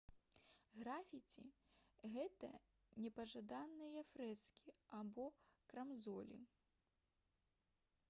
графіці гэта непажаданыя фрэскі або крамзолі